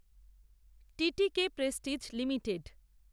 টিটিকে prestige limited